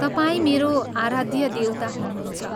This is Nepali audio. तपाईं मेरो आराध्य देवता हुनुहुन्छ।